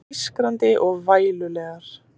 Ískrandi og vælulegar.